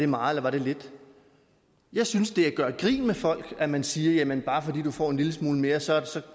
meget eller lidt jeg synes det er at gøre grin med folk at man siger jamen bare fordi du får en lille smule mere så